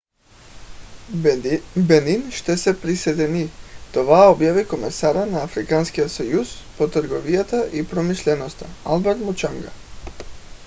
бенин ще се присъедини. това обяви комисарят на африканския съюз по търговията и промишлеността алберт мучанга